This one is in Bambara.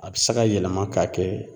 A bɛ se ka yɛlɛma ka kɛ